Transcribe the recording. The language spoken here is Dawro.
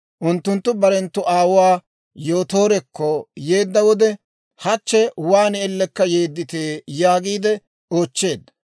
Unttunttu barenttu aawuwaa Yootoorekko yeedda wode, «Hachche waan ellekka yeedditee?» yaagiide oochcheedda.